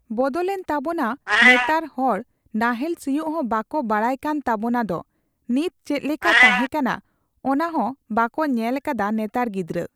ᱵᱚᱫᱚᱞ ᱮᱱ ᱛᱟᱵᱳᱱᱟ ᱱᱮᱛᱟᱨ ᱦᱚᱲ ᱱᱟᱦᱮᱞ ᱥᱤᱭᱳᱜ ᱦᱚᱸ ᱵᱟᱠᱚ ᱵᱟᱲᱟᱭ ᱠᱟᱱ ᱛᱟᱵᱳᱱᱟ ᱫᱚ ᱱᱤᱛ ᱪᱮᱫ ᱞᱮᱠᱟ ᱛᱟᱸᱦᱮ ᱠᱟᱱᱟ ᱚᱱᱟᱦᱚᱸ ᱵᱟᱠᱚ ᱧᱮᱞ ᱠᱟᱫᱟ ᱱᱮᱛᱟᱨ ᱜᱤᱫᱨᱟᱹ᱾